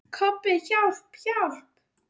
Kobbi, hjálp, hjálp.